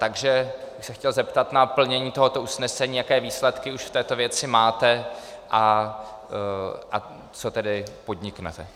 Takže bych se chtěl zeptat na plnění tohoto usnesení, jaké výsledky už v této věci máte a co tedy podniknete.